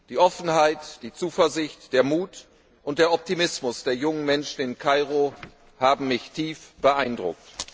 Die Offenheit, die Zuversicht, der Mut und der Optimismus der jungen Menschen in Kairo haben mich tief beeindruckt.